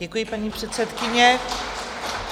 Děkuji, paní předsedkyně.